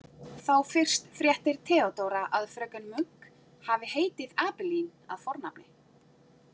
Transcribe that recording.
Þá fyrst fréttir Theodóra að fröken Munk hafi heitið Abeline að fornafni.